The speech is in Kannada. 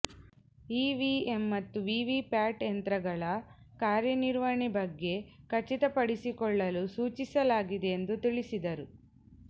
ಇವಿಎಂ ಮತ್ತು ವಿವಿ ಪ್ಯಾಟ್ ಯಂತ್ರಗಳ ಕಾರ್ಯ ನಿರ್ವಹಣೆ ಬಗ್ಗೆ ಖಚಿತ ಪಡಿಸಿಕೊಳ್ಳಲು ಸೂಚಿಸಲಾಗಿದೆ ಎಂದು ತಿಳಿಸಿದರು